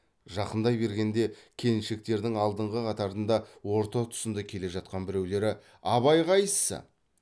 жақындай бергенде келіншектердің алдыңғы қатарында орта тұсында келе жатқан біреулері абай қайсы